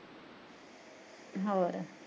ਹੋਰ